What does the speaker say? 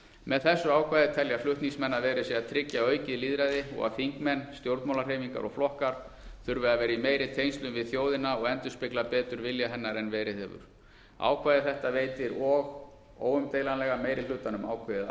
með þessu ákvæði telja flutningsmenn að verið sé að tryggja aukið lýðræði og að þingmenn stjórnmálahreyfingar og flokkar þurfi að vera í meiri tengslum við þjóðina og endurspegla betur vilja hennar en verið hefur ákvæði þetta veitir og óumdeilanlega meiri hlutanum ákveðið